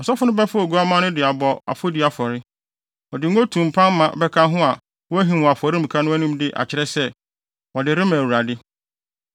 Ɔsɔfo no bɛfa oguamma no de abɔ afɔdi afɔre. Ɔde ngo tumpan ma bɛka ho na wahim wɔ afɔremuka no anim de akyerɛ sɛ, wɔde rema Awurade.